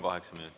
Kaheksa minutit.